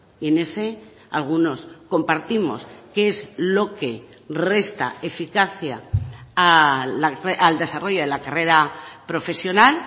y en ese algunos compartimos qué es lo que resta eficacia al desarrollo de la carrera profesional